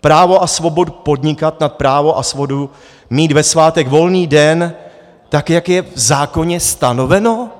právo a svobodu podnikat nad právo a svobodu mít ve svátek volný den tak, jak je v zákoně stanoveno?